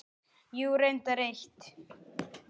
Jú, reyndar eitt.